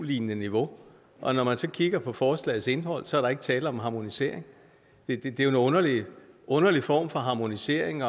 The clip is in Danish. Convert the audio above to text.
lignende niveau og når man så kigger på forslagets indhold er der ikke tale om harmonisering det er jo en underlig underlig form for harmonisering